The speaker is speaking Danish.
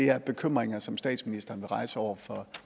er bekymringer som statsministeren vil rejse over for